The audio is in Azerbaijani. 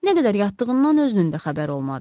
Nə qədər yatdığından özünün də xəbəri olmadı.